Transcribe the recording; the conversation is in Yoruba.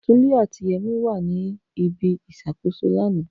Tunde ati Yemi wa ni ibi iṣakoso lana.